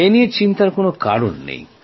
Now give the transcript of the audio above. এই নিয়ে চিন্তার কোন কারণ নেই